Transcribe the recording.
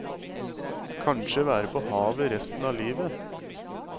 Kanskje være på havet resten av livet.